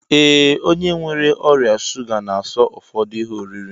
Ee, onye nwere ọrịa shuga na-aso ụfọdụ ihe oriri